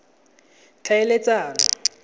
tlhaeletsano